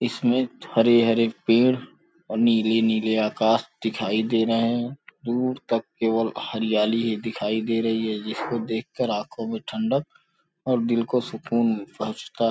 इसमें हरे-हरे पेड़ और नीले-नीले आकाश दिखाई दे रहे हैं। दूर तक केवल हरियाली ही दिखाई दे रही है। जिसको देख कर आँखों में ठंडक और दिल को सुकून पहुँचता --